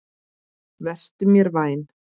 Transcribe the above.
Vertu mér vænn